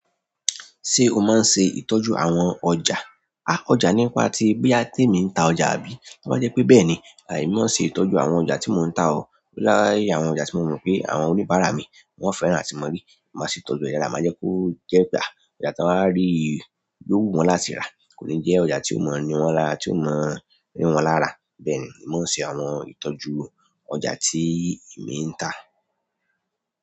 Ṣé o máa ń ṣe ìtọ́jú àwọn ọjà? A ọjà nípa tí bóyá tíì mi ń ta ọjà àbí? Tó bá jẹ́ pé bẹ́ẹ̀ni. À èmi mọ ń ṣe ìtọ́jú àwọn ọjà tí mò ń ta o. Láyé àwọn ọjà tí mo mọ̀ pé àwọn oníbàárà mi wọ́n fẹ́ràn àti mọ rí. Mo máa ṣe ìtọ́jú ọjà, má jẹ́ kó jẹ́ pé à, ìgbà tí wọ́n á rí yóò wù wọ́n láti rà, kò ní jẹ́ ọjà tí ó mọ́ ni wọ́n lára tí ó mọ́ rí wọ́n lára. Bẹ́ẹ̀ ni, mo ń ṣe àwọn ìtọ́jú ọjà tí èmi ń tà.